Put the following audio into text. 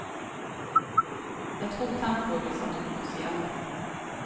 Jeg tror tempoet blir satt opp, sier hun.